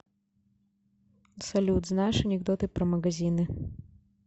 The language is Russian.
салют знаешь анекдоты про магазины